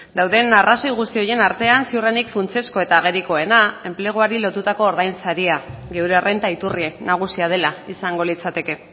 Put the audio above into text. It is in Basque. dauden arrazoi guzti horien artean ziurrenik funtsezko eta agerikoena enpleguari lotutako ordainsaria gure errenta iturri nagusia dela izango litzateke